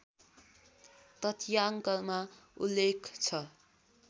तथ्याङ्कमा उल्लेख छ